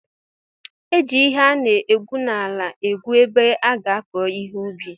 E ji ihe ana egwu n'ala egwu ebe a ga-akọ ihe n'ubi.